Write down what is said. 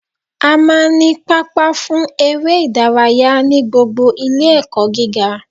A máa n ní pápá fún eré ìdárayá ní gbogbo Ilé ẹ̀kọ́ gíga